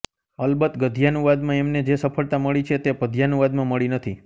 અલબત્ત ગદ્યાનુવાદમાં એમને જે સફળતા મળી છે તે પદ્યાનુવાદમાં મળી નથી